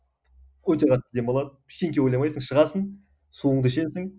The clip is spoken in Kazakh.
өте қатты демалады ештеңе ойламайсың шығасың суыңды ішесің